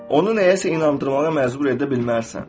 Onu nəyəsə inandırmağa məcbur edə bilməzsən.